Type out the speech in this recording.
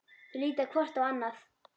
Þau líta hvort á annað.